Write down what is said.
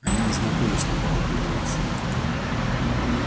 они не знакомы с ней когда прибывают сюда